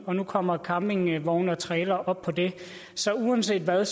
og nu kommer campingvogne og trailere op på det så uanset hvad